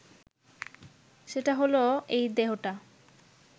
সেটা হলো এই দেহটা